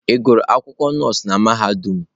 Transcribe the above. Ị gụrụ akwụkwọ nọọsụ na mahadum?